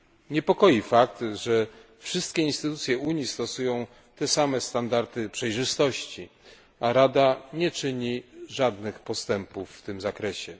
Niepokoi fakt, że wszystkie instytucje Unii stosują te same standardy przejrzystości, a Rada nie czyni żadnych postępów w tym zakresie.